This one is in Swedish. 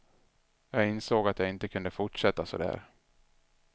Jag insåg att jag inte kunde fortsätta så där.